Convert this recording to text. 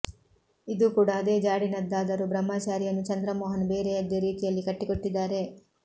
ಇದೂ ಕೂಡಾ ಅದೇ ಜಾಡಿನದ್ದಾದರೂ ಬ್ರಹ್ಮಚಾರಿಯನ್ನು ಚಂದ್ರಮೋಹನ್ ಬೇರೆಯದ್ದೇ ರೀತಿಯಲ್ಲಿ ಕಟ್ಟಿಕೊಟ್ಟಿದ್ದಾರೆ